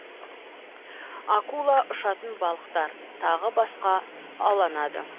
акула ұшатын балықтар тағы басқа ауланады